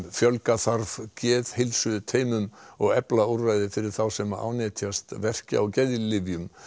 fjölga þarf geðheilsuteymum og efla úrræði fyrir þá sem ánetjast verkja og geðlyfjum